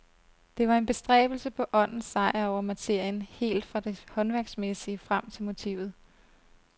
Det var en bestræbelse på åndens sejr over materien helt fra det håndværksmæssige frem til motivet.